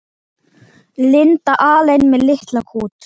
Linda alein með litla kút.